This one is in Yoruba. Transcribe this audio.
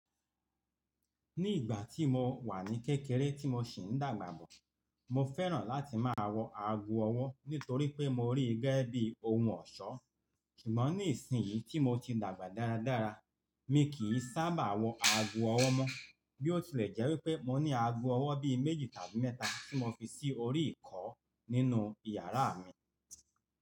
Ní ìgbà tí mo wà ní kékeré tí mo sì ń dàgbà bọ̀, mo fẹ́ràn láti máa wọ ago ọwọ́ nítorí pé mo rí i gẹ́gẹ́ bí ohun ọ̀ṣọ́. Sugboń ní ìsinyìí tí mo ti dàgbà dáradára, mi kì í sábà wọ ago ọwọ́ mọ. Bí ó tilẹ̀ jẹ́ wí pé mo ní ago ọwọ́ bí méjì tàbí mẹ́ta tí mo fi sí orí ìkọ́ nínú ìyàrá mi.